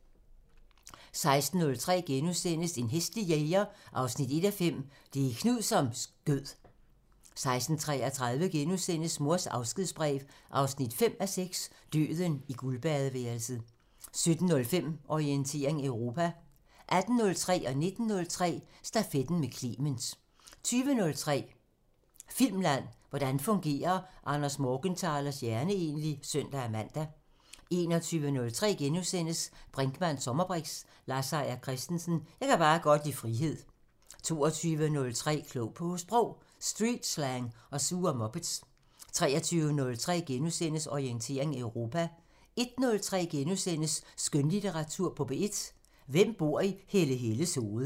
16:03: En hæslig jæger 1:5 – Det er Knud, som skød * 16:33: Mors afskedsbrev 5:6 – Døden i guldbadeværelset * 17:05: Orientering Europa 18:03: Stafetten med Clement * 19:03: Stafetten med Clement 20:03: Filmland: Hvordan fungerer Anders Morgenthalers hjerne egentlig? *(søn-man) 21:03: Brinkmanns sommerbriks: Lars Seier Christensen – Jeg kan bare godt lide frihed * 22:03: Klog på Sprog: Streetslang og sure muppets 23:03: Orientering Europa * 01:03: Skønlitteratur på P1: Hvem bor i Helle Helles hoved? *